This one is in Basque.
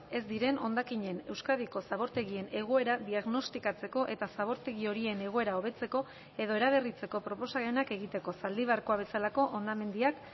ez diren hondakinen euskadiko zabortegien egoera diagnostikatzeko eta zabortegi horien egoera hobetzeko edo eraberritzeko proposamenak egiteko zaldibarkoa bezalako hondamendiak